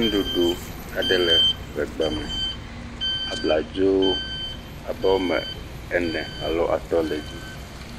Nuɖuɖu aɖe le ŋegba me, abladzo woame ene alo atɔ̃ le dzi,